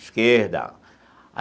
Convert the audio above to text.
Esquerda.